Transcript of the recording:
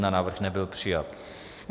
Návrh nebyl přijat.